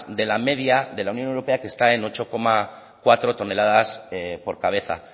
de la media de la unión europea que está en ocho coma cuatro toneladas por cabeza